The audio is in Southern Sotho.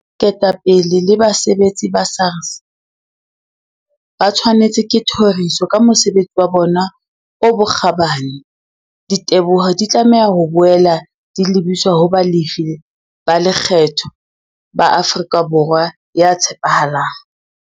Ketapele le basebetsi ba SARS ba tshwanetswe ke thoriso ka mosebesi wa bona o bokgabani. Diteboho di tlameha ho boela di lebiswa ho balefi ba lekgetho ba Afrika Borwa ya tshepahalang.